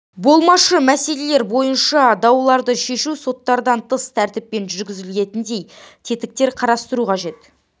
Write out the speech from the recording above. болмашы мәселелер бойынша дауларды шешу соттардан тыс тәртіппен жүргізілетіндей тетіктер қарастыру қажет